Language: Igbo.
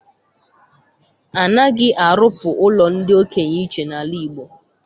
Anaghị arụpụ ụlọ ndị okenye iche n'ala Igbo.